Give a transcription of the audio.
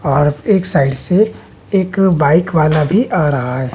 और एक साइड से एक बाइक वाला भी आ रहा है।